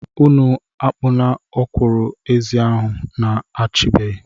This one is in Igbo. Unu akapuna ọkwụrụ-ezi ahụ. na-achabeghị!